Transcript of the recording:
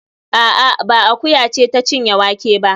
A'a, ba akuya ce ta cinye wake ba